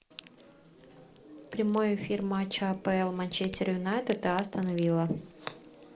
прямой эфир матча апл манчестер юнайтед и астон вилла